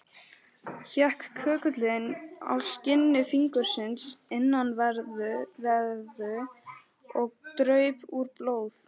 Hékk köggullinn á skinni fingursins innanverðu, og draup úr blóð.